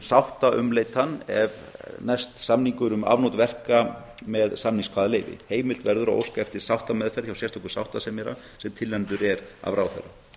sáttaumleitan ef næst samningur um afnot verka með samningskvaðaleyfi heimilt verður að óska eftir sáttameðferð hjá sérstökum sáttasemjara sem tilnefndur er af ráðherra